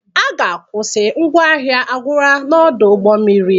A ga-akwụsị ngwa ahịa agwụla n'ọdụ ụgbọ mmiri